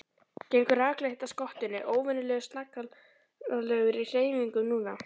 Gengur rakleitt að skottinu, óvenjulega snaggaralegur í hreyfingum núna.